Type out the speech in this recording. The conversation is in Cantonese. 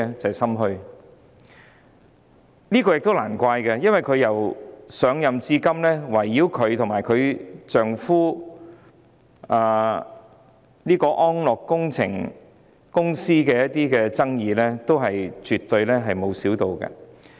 這是理所當然的，因為她上任至今，圍繞她和她丈夫的安樂工程集團的爭議沒有減少。